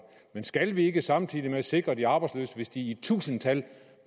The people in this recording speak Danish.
men skal vi ikke samtidig sikre de arbejdsløse hvis de i tusindtal